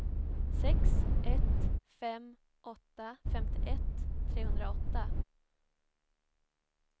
sex ett fem åtta femtioett trehundraåtta